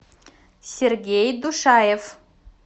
сергей душаев